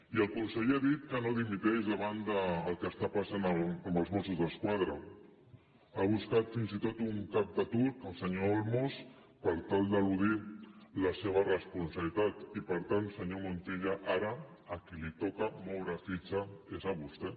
i el conseller ha dit que no dimiteix davant del que està passant amb els mossos d’esquadra ha buscat fins i tot un cap de turc el senyor olmos per tal d’eludir la seva responsabilitat i per tant senyor montilla ara a qui li toca moure fitxa és a vostè